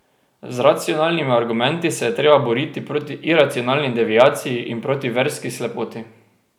Z racionalnimi argumenti se je treba boriti proti iracionalni deviaciji in proti verski slepoti.